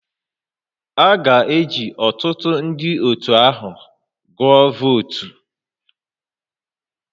A ga-eji ọtụtụ ndị otu ahụ agụọ votu